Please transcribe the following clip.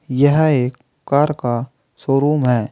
यह एक कार का शोरूम है।